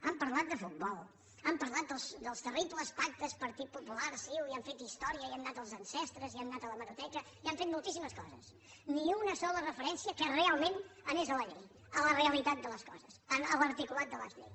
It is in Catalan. han parlat de futbol han parlat dels terribles pactes partit popular ciu i han fet història i han anat als ancestres i han anat a l’hemeroteca i han fet moltíssimes coses ni una sola referència que realment anés a la llei a la realitat de les coses a l’articulat de la llei